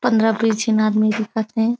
पन्द्रा बीस झीन आदमी दिखत हे।